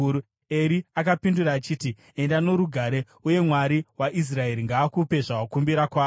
Eri akapindura achiti, “Enda norugare, uye Mwari waIsraeri ngaakupe zvawakumbira kwaari.”